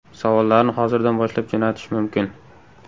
Savollarni hozirdan boshlab jo‘natish mumkin.